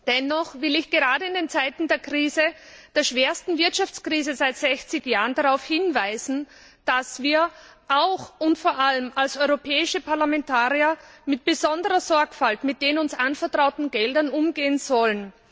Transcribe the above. Dennoch will ich gerade in den Zeiten der Krise der schwersten Wirtschaftskrise seit 60 Jahren darauf hinweisen, dass wir auch und vor allem als europäische Parlamentarier mit besonderer Sorgfalt mit den uns anvertrauten Geldern umgehen sollen.